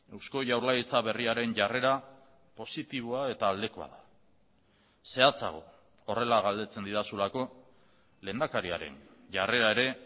eusko jaurlaritza berriaren jarrera positiboa eta aldekoa da zehatzago horrela galdetzen didazulako lehendakariaren jarrera ere